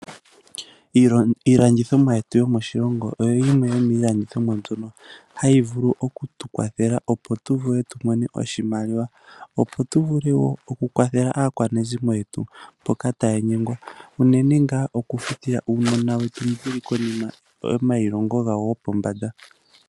Iilandithomwa yetu yomoshilongo oyo yimwe yomiilandithomwa hayi vulu oku tukwathela opo tuvule tumone tumone oshimaliwa aakwanezimo yetu mboka taya nyengwa unene ngaa okufuta oosikola dhaanasikola mboka yeli kiiputudhilo yopombanda